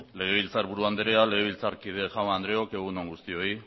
legebiltzarburu andrea legebiltzarkide jaun andreok egun on guztioi